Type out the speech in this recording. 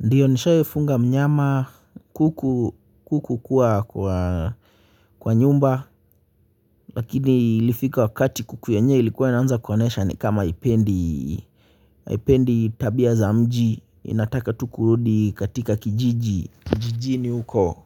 Ndiyo nishawahifunga mnyama kuku kuku kwa kwaa kwa nyumba lakini ilifika wakati kuku yenyewe ilikuwa inaanza kuonyesha ni kama haipendi haipendi tabia za mji inataka tu kurudi katika kijiji kijijini huko.